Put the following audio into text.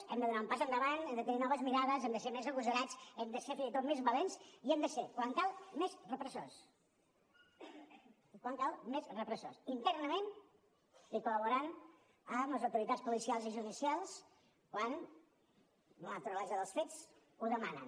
hem de donar un pas endavant hem de tenir noves mirades hem de ser més agosarats hem de ser fins i tot més valents i hem de ser quan cal més repressors quan cal més repressors internament i col·laborant amb les autoritats policials i judicials quan la naturalesa dels fets ho demana